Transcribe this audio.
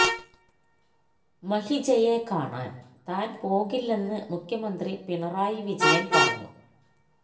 മഹിജയെ കാണാന് താന് പോകുന്നില്ലെന്ന് മുഖ്യമന്ത്രി പിണറായി വിജയന് പറഞ്ഞു